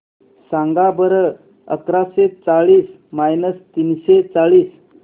सांगा बरं अकराशे चाळीस मायनस तीनशे चाळीस